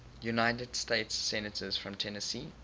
united states senators from tennessee